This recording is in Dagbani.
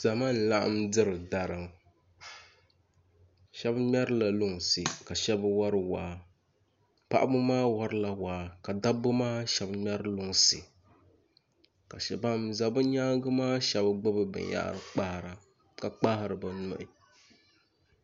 Zama n laɣam diri dari ŋo shab ŋmɛrila lunsi ka shab wori waa paɣaba maa worila waa ka dabba shab ŋmɛri lunsi ban ʒɛ bi nyaangi maa shab gbubi binyahari kpahara ka kpahari bi nuhi